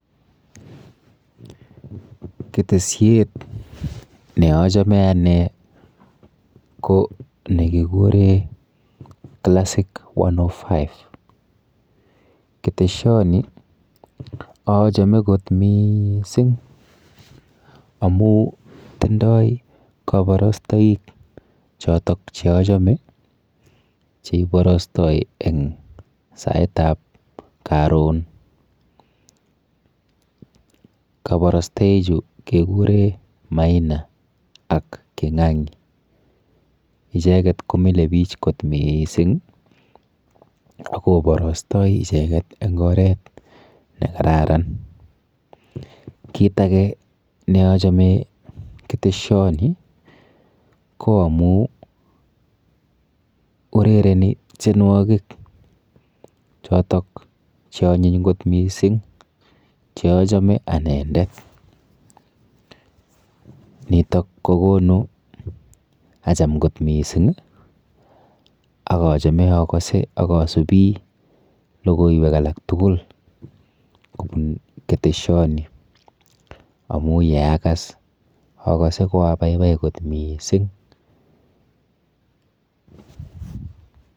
Keteshiet ne achome ane ko nekikure classic 105 keteshioni achome kot mising' amu tindoi kabarastoik choto che achome cheiborostoi eng' saitab karon kabarostochu kekure maina ak king'ang'i icheget komile biich kot mising akoborostoi icheget eng' oret nekararan kiit age neachome keteshioni ko amu urereni tienwokik chotok cheonyiny ngot mising' cheachome anendet nitok kokonu acham kot mising' akachome akose akasubi lokoiwek alak tugul kobun keteshioni amu yeakas akose koababai kot mising'